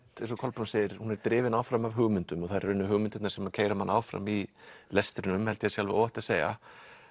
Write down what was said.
eins og Kolbrún segir hún er drifin áfram af hugmyndum og það eru hugmyndirnar sem keyra mann áfram í lestrinum held ég að sé alveg óhætt að segja